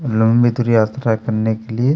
लंबी दूरी यात्रा करने के लिए--